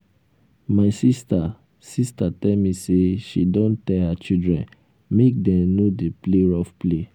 my sister sister tell me say she don tell her children make dem no dey play rough play